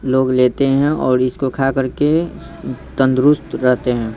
लोग लेते हैंऔर इसको खा कर के तंदुरुस्त रहते हैं।